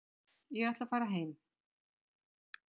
Ég ætla að fara heim.